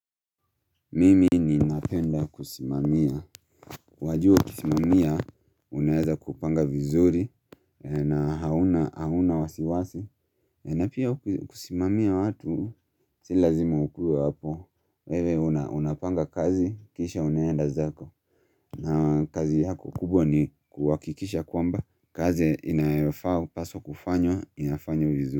Mimi napenda kusimamia wajua kusimamia unaeza kupanga vizuri na hauna hauna wasiwasi na pia kusimamia watu si lazima ukue wapo wewe unapanga kazi kisha unaenda zako na kazi yako kubwa ni kuwakikisha kwamba kazi inaefaa paswa kufanywa inafanywa vizuri.